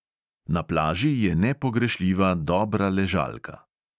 Na plaži je nepogrešljiva dobra ležalka.